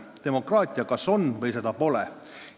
Demokraatia kas on või seda pole.